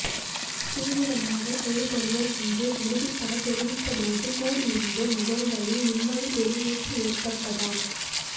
தீவிரமாக செயல்படுவோம் என்று உறுதிபடத் தெரிவித்தபோது கூடியிருந்தோர் முகங்களில் நிம்மதிப் பெருமூச்சு ஏற்பட்டதாம்